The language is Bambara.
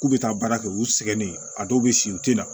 K'u bɛ taa baara kɛ u sɛgɛnnen a dɔw bɛ sigi u tɛ na